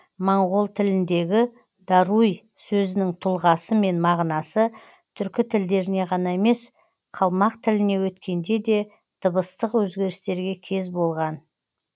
моңғол тіліндегі даруй сөзінің тұлғасы мен мағынасы түркі тілдеріне ғана емес қалмақ тіліне өткенде де дыбыстық өзгерістерге кез болған